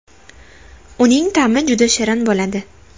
Uning ta’mi juda shirin bo‘ladi.